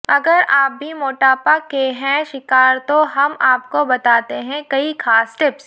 अगर आप भी मोटापा के हैं शिकार तो हम आपको बताते हैं कई खास टिप्स